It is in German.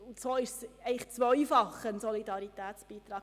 Deshalb ist es ein zweifacher Solidaritätsbeitrag.